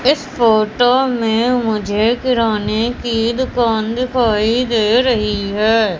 इस फोटो में मुझे किराने की दुकान दिखाई दे रही है।